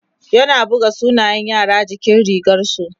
yana buga sunan yara jikin rigarsu